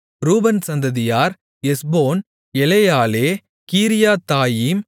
ரூபன் சந்ததியார் எஸ்போன் எலெயாலெ கீரியத்தாயீம்